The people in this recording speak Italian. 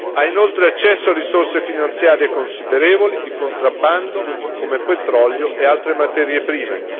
Ha inoltre accesso a risorse finanziarie considerevoli, di contrabbando, come petrolio e altre materie prime.